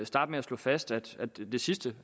starte med at slå fast at at det sidste